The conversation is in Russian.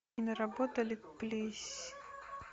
и наработали плись